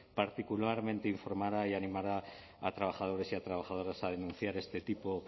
particularmente informará y animará a trabajadores y a trabajadoras a denunciar este tipo